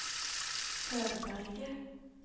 Tørberget